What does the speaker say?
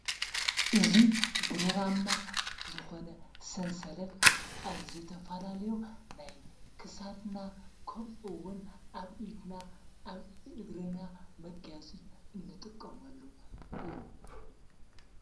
እዙ ብሩራማ ዝኾነ ሰንሰለት ኣብዘተፋላለዮ ናይ ክሳድና ከምኦውን ኣብ ኢድና ኣብ እግርና መጋያጺ እንጥቆሙኣሉ እዩ።